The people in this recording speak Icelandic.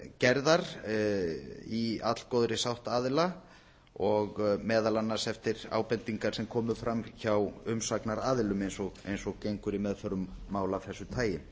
gerðar í allgóðri sátt aðila og meðal annars eftir ábendingar sem komu fram hjá umsagnaraðilum eins og gengur í meðförum mála af þessu tagi